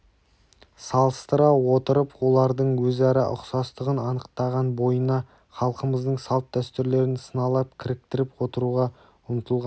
салыстыра отырып олардың өзара ұқсастығын анықтаған бойына халқымыздың салт-дәстүрлерін сыналап кіріктіріп отыруға ұмтылған